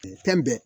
Fɛn bɛɛ